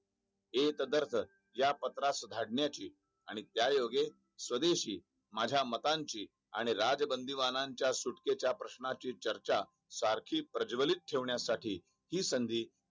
एक दरफ या पत्रास सुधारणांची आणि त्या योगे स्वदेशी माझा मतांची आणि राजबंदीबाणाच्या सुटकेच्या प्रश्नांची चर्चा सारखी प्रज्वलित ठेवण्यासाठी हि संधी